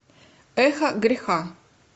эхо греха